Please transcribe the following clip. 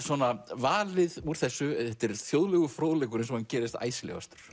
valið úr þessu þetta er þjóðlegur fróðleikur eins og hann gerist